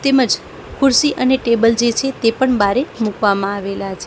તેમજ ખુરસી અને ટેબલ જે છે તે પણ બારે મૂકવામાં આવેલા છે.